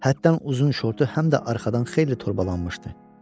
Həddən uzun şortu həm də arxadan xeyli torbalanmışdı.